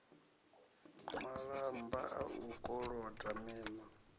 malamba a u koloda miṋa